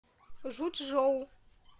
жучжоу